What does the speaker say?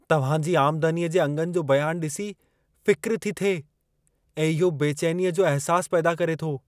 तव्हां जी आमदनीअ जे अंगनि जो बयानु ॾिसी फ़िक्र थी थिए, ऐं इहो बेचैनीअ जो अहसासु पैदा करे थो।